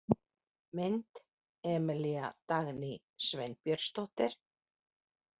Mynd: Emilía Dagný Sveinbjörnsdóttir.